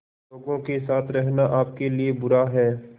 लोगों के साथ रहना आपके लिए बुरा है